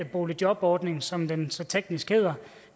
boligjobordning som den så teknisk hedder